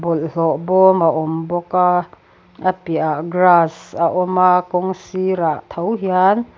bawlhhlawh bawm a awm bawka a piahah grass a awma kawng sirah tho hian --